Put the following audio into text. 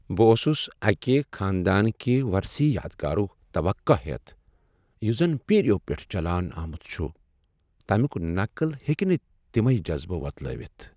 بہٕ اوسس اکہ خاندان کہ ورثی یادگارک توقع ہیتھ یُس زَن پیرِیو پیٹھہٕ چلان آمُت چھُ ۔ تمیک نقل ہیکہ نہ تمے جذبہ وۄتلٲوِتھ ۔